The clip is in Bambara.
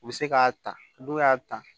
U bɛ se k'a ta n'u y'a ta